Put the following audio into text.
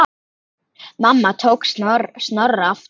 Mamma tók Snorra aftur.